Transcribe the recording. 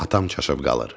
Atam çaşıb qalır.